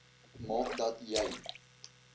maak dat jy